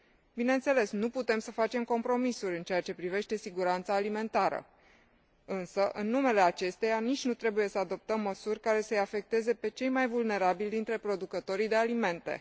Bineînțeles, nu putem să facem compromisuri în ceea ce privește siguranța alimentară însă în numele acesteia, nici nu trebuie să adoptăm măsuri care să îi afecteze pe cei mai vulnerabili dintre producătorii de alimente.